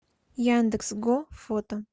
яндекс го фото